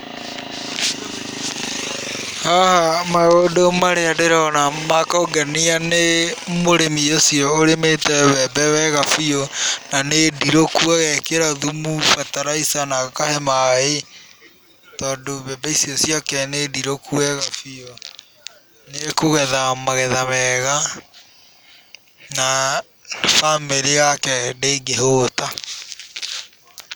Haha maũndũ marĩa ndĩrona ma kũngenia nĩ mũrĩmi ũcio ũrĩmĩte mbembe wega biũ na nĩ ndirũku, agekĩra thumu, bataraitha na akahe maaĩ tondũ mbembe icio ciake nĩ ndirũku wega biũ. Nĩekũgetha magetha mega na bamĩrĩ yake ndĩngĩhũũta.